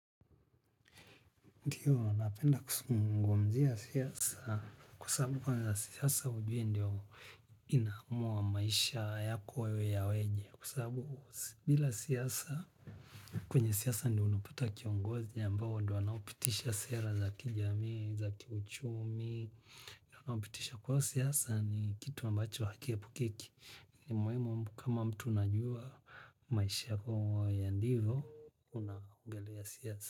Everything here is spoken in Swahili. Ndiyo, napenda kusungumzia siasa kwa sabu kwenye siasa ujue ndio inaamua maisha yako yawe yaweje kwa sabu bila siasa kwenye siasa ndio unapata kiongozi ambao ndio anapitisha sera za kijamii, za kiuchumi, anapitisha kwa siasa ni kitu ambacho akiepukeki. Muimu kama mtu unajua maisha yako ya ndivo, unangalia siasa.